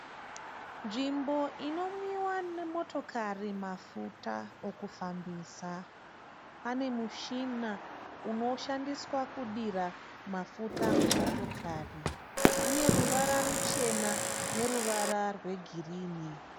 Nzvimbo inomwiwa nemotokari mafuta okufambisa. Pane muchina unoshandiswa kudira mafuta mumoyokari. Une ruvara ruchena, neruvara rwegirinhi.